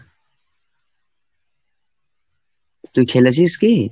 তুই খেলেছিস কি?